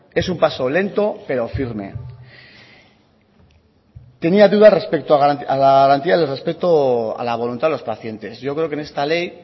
es un paso lento pero firme tenía dudas respecto a la garantía del respeto a la voluntad de los pacientes yo creo que en esta ley